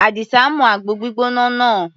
Àdìsá mu àgbo gbígbóná náà.